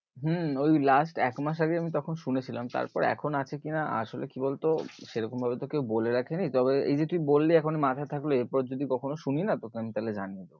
হম ওই last এক মাস আগে আমি তখন শুনেছিলাম তারপর এখন আছে কি না, আসলে কি বল তো সেরকম ভাবে তো কেও বলে রাখে নি তবে এই যে তুই বললি এখন মাথায় থাকলো এরপর যদি কখনো শুনি না তোকে আমি তাহলে জানিয়ে দেব